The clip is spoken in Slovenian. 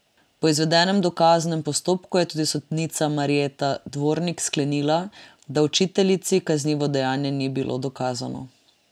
Po izvedenem dokaznem postopku je tudi sodnica Marjeta Dvornik sklenila, da učiteljici kaznivo dejanje ni bilo dokazano.